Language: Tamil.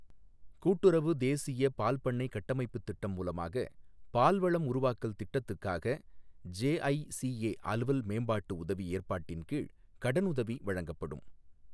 கூட்டுறவு தேசிய பால்பண்ணைக் கட்டமைப்புத் திட்டம் மூலமாக பால்வளம் உருவாக்கல் திட்டத்துக்காக ஜெஐசிஏ அலுவல் மேம்பாட்டு உதவி ஏற்பாட்டின் கீழ் கடனுதவி வழங்கப்படும்.